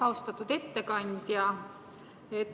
Austatud ettekandja!